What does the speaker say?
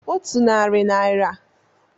Otu narị naira bụ ọkara akpa ego.